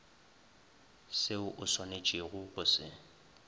seo o swanetšego go se